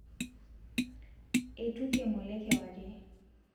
eitukie ng'ole kewarie